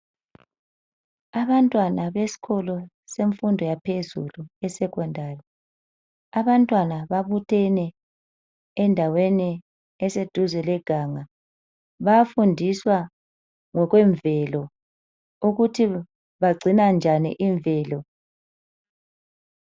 Abantwana besikolo semfundo yaphezulu eSecondary, abantwana babuthene endaweni eseduze leganga. Bayafundiswa ngokwemvelo ukuthi bagcina njani imvelo.